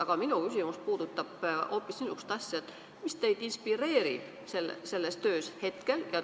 Aga minu küsimus puudutab hoopis niisugust asja, et mis teid selles töös hetkel inspireerib.